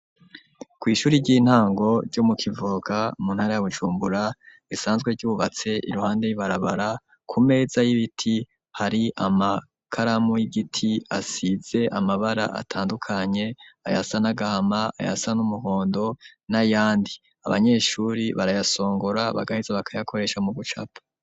Kw'ishuri ry'intango, ryo mu Kivoga, mu ntara ya Bujumbura, risanzwe ryubatse iruhande y'ibarabara; ku meza y'ibiti, hari amakaramu y'igiti, asize amabara, atandukanye; ayasa n'agahama, ayasa n'umuhondo, n'ayandi; abanyeshuri barayasongora, bagaheza bakayakoresha, mu gucapa.